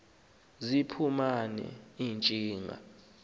ziphuma ne ntshinga